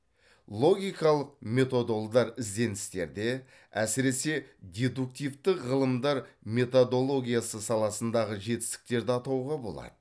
логикалық методолдар ізденістерде әсіресе дедуктивтік ғылымдар методологиясы саласындағы жетістіктерді атауға болады